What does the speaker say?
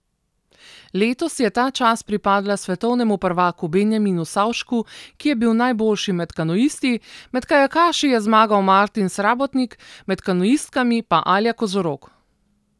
Letos je ta čast pripadla svetovnemu prvaku Benjaminu Savšku, ki je bil najboljši med kanuisti, med kajakaši je zmagal Martin Srabotnik, med kanuistkami pa Alja Kozorog.